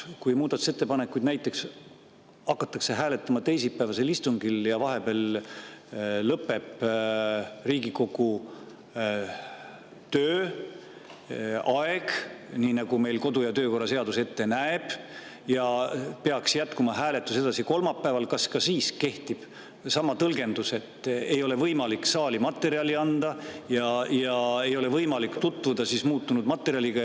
Kui muudatusettepanekuid hakatakse hääletama näiteks teisipäevasel istungil ja vahepeal lõpeb Riigikogu tööaeg, nii nagu meil kodu‑ ja töökorra seadus ette näeb, ja hääletus peaks jätkuma kolmapäeval, kas ka siis kehtib sama tõlgendus, et ei ole võimalik saali materjali anda ja ei ole võimalik tutvuda muutunud materjaliga?